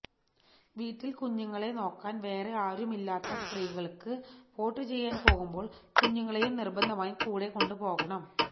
വീട്ടിൽ കുഞ്ഞുങ്ങളെ നോക്കാൻ വേറെ ആരുമില്ലാത്ത സ്ത്രീകൾക്ക് വോട്ട് ചെയ്യാൻ പോകുമ്പോൾ കുഞ്ഞുങ്ങളെയും നിർബന്ധമായും കൂടെ കൊണ്ടുപോകണം